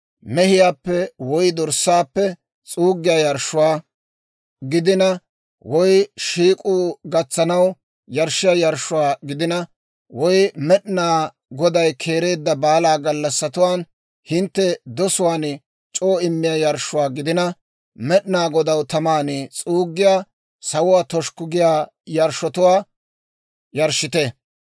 mehiyaappe woy dorssaappe, s'uuggiyaa yarshshuwaa gidina, woy shiik'k'owaa gatsanaw yarshshiyaa yarshshuwaa gidina, woy Med'ina Goday keereedda baala gallassatuwaan hintte dosuwaan c'oo immiyaa yarshshuwaa gidina, Med'inaa Godaw taman s'uuggiyaa, sawuwaa toshukku giyaa yarshshotuwaa yarshshite.